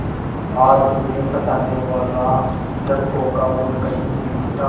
आज उन्हें सताने वाला लड़कों का गुट कहीं नहीं था